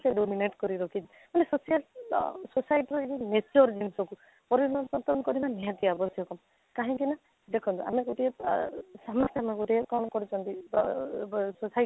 dominant କରି ରଖିଛି ମାନେ social ଆଃ society ରେ ଏଇ ଯଉ nature ଜିନିଷକୁ ପରିବର୍ତନ କରିବା ନିହାତି ଆବଶ୍ୟକ କାହିଁକି ନା ଦେଖା ଆମେ ଗୋଟିଏ ଆଃ ସାମ୍ନା ସାମ୍ନା ଗୋଟିଏ କ'ଣ କରୁଛନ୍ତି ତ ଅଃ society